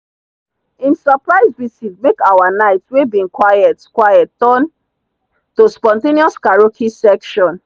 him surprise visit make our night wey bin quiet quiet turn to spontaneous karaoke session.